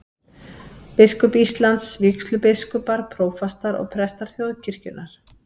Biskup Íslands, vígslubiskupar, prófastar og prestar þjóðkirkjunnar.